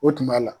O tuma la